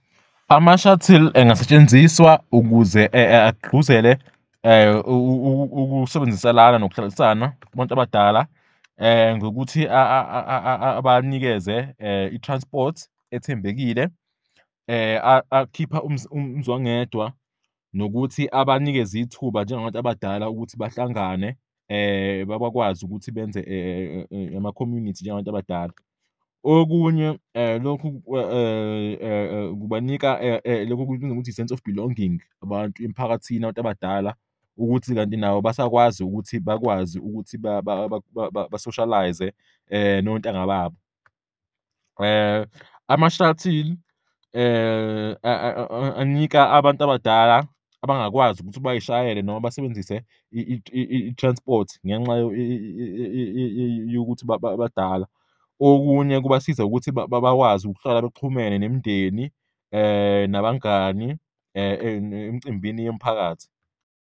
Ama-shuttle engasetshenziswa ukuze agqugquzele ukusebenziselana nokuhlalisana kubantu abadala ngokuthi abanikeze i-transport ethembekile, akhipha umzwangedwa nokuthi abanikeze ithuba njengabantu abadala ukuthi bahlangane, bakwazi ukuthi benze ama-community njengabantu abadala. Okunye, lokhu kubanika loku okubizwa ngokuthi i-sense of belonging abantu emphakathini abantu abadala ukuthi kanti nabo basakwazi ukuthi bakwazi ukuthi basoshalayize nontanga babo. Ama-shuttle anika abantu abadala abangakwazi ukuthi bay'shayele noma basebenzise i-transport ngenxa yokuthi badala, okunye kubasiza ukuthi bakwazi ukuhlala bexhumene nemindeni nabangani emcimbini yomphakathi.